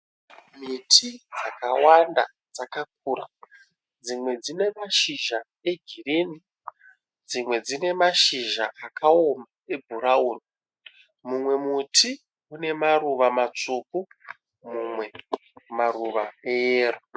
Miti yakawanda, dzakakura dzimwe ne mashizha egirini, dzimwe dzine mashizha akaoma ebhurauni, mumwe muti une maruva maruva, matsvuku mamwe eyero,